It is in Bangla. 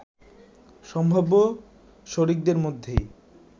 সম্ভাব্য শরিকদের মধ্যেই